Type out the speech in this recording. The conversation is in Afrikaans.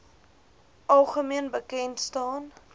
algemeen bekend staan